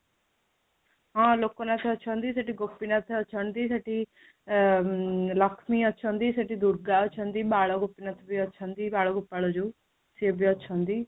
ହଁ, ଲୋକନାଥ ଅଛନ୍ତି, ସେଠି ଗୋପୀନାଥ ଅଛନ୍ତି, ସେଠି ଆଃ ଲକ୍ଷ୍ମୀ ଅଛନ୍ତି, ସେଠି ଦୁର୍ଗା ଅଛନ୍ତି, ବାଳ ଗୋପୀନାଥ ବି ଅଛନ୍ତି ବାଳ ଗୋପାଳ ଯୋଉ ସିଏ ବି ଅଛନ୍ତି